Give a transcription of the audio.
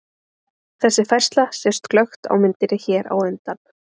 Þessi færsla sést glöggt á myndinni hér á undan.